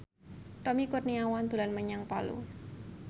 Tommy Kurniawan dolan menyang Palu